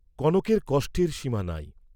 কনকের কষ্টের সীমা নাই।